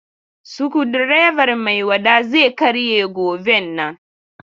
Sukudireban Maiwada zai karye goben nan.